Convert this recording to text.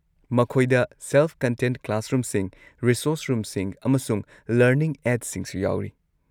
ꯃꯈꯣꯏꯗ ꯁꯦꯜꯐ-ꯀꯟꯇꯦꯟꯗ ꯀ꯭ꯂꯥꯁꯔꯨꯝꯁꯤꯡ, ꯔꯤꯁꯣꯔꯁ ꯔꯨꯝꯁꯤꯡ, ꯑꯃꯁꯨꯡ ꯂꯔꯅꯤꯡ ꯑꯦꯗꯁꯤꯡꯁꯨ ꯌꯥꯎꯔꯤ꯫